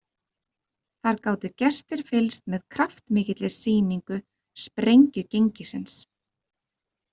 Þar gátu gestir fylgst með kraftmikilli sýningu Sprengjugengisins.